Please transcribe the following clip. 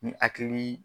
Ni hakili